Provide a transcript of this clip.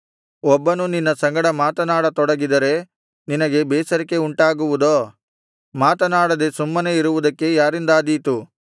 ಒಬ್ಬನು ನಿನ್ನ ಸಂಗಡ ಮಾತನಾಡ ತೊಡಗಿದರೆ ನಿನಗೆ ಬೇಸರಿಕೆ ಉಂಟಾಗುವುದೋ ಮಾತನಾಡದೆ ಸುಮ್ಮನೆ ಇರುವುದಕ್ಕೆ ಯಾರಿಂದಾದೀತು